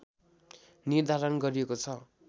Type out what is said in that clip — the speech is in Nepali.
निर्धारण गरिएको छ